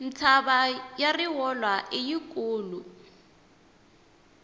mtshava ya rivolwa i yi kulu